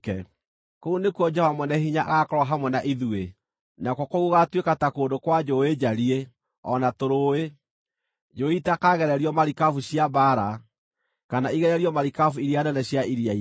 Kũu nĩkuo Jehova Mwene-Hinya agaakorwo hamwe na ithuĩ. Nakuo kũu gũgaatuĩka ta kũndũ kwa njũũĩ njariĩ, o na tũrũũĩ, njũũĩ itakagererio marikabu cia mbaara, kana igererio marikabu iria nene cia iria-inĩ.